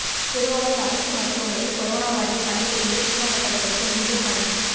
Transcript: திருவாரூர் அரசு மருத்துவமனை கொரோனா வார்டில் பணிபுரிந்து நீக்கப்பட்டவர்களுக்கு மீண்டும் பணி